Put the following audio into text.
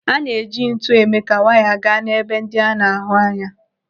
A na-eji ntu eme ka waya gaa n'ebe ndị a na-ahụ anya.